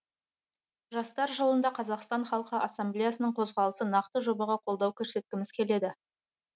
жастар жылында қазақстан халқы ассамблеясының қозғалысы нақты жобаға қолдау көрсеткіміз келеді